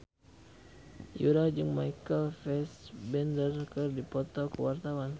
Yura jeung Michael Fassbender keur dipoto ku wartawan